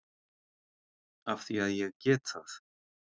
Af því að ég get það.